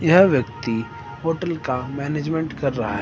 यह व्यक्ती होटल का मैनेजमेंट कर रहा है।